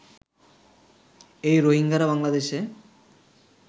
এই রোহিঙ্গারা বাংলাদেশে